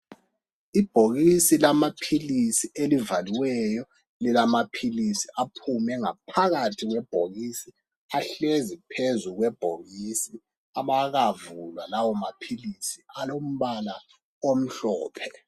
Ibhokisi lamaphilisi elivaliweyo ngaphakathi kwebhokisi ahlezi phezu kwebhokisi abakawavuli lawa maphilisi alombala omhlophe.